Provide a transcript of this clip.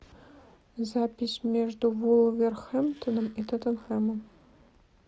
запись между вулверхэмптоном и тоттенхэмом